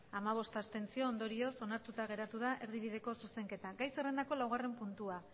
hamabost abstentzio ondorioz onartuta geratu da erdibideko zuzenketa gai zerrendako laugarren puntua